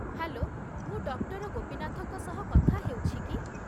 Hello, ମୁଁ doctor ଗୋପୀନାଥଙ୍କ ସହ କଥା ହେଉଛି କି?